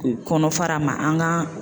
Kɔnɔ fara ma an ka